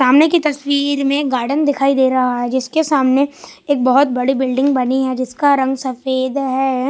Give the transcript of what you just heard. सामने की तस्वीर में गार्डन दिखाई दे रहा है जिसके सामने एक बहोत बड़ी बिल्डिंग बनी है जिसका रंग सफेद है।